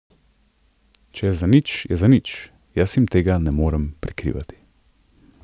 Če je zanič, je zanič, jaz jim tega ne morem prikrivati.